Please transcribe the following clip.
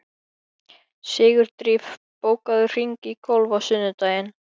Sigurdríf, bókaðu hring í golf á sunnudaginn.